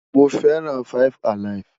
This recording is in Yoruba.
Mo feran 5 alive